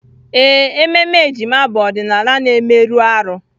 Ee, ememe ejima bụ ọdịnala na-emerụ ahụ.